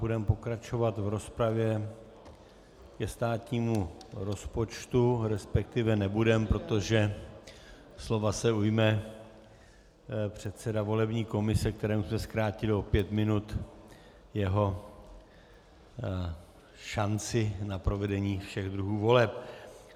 Budeme pokračovat v rozpravě ke státnímu rozpočtu, respektive nebudeme, protože slova se ujme předseda volební komise, kterému jsem zkrátil o pět minut jeho šanci na provedení všech druhů voleb.